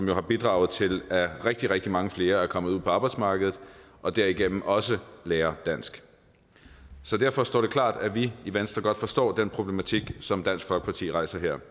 jo har bidraget til at rigtig rigtig mange flere er kommet ud på arbejdsmarkedet og derigennem også lærer dansk derfor står det klart at vi i venstre godt forstår den problematik som dansk folkeparti rejser her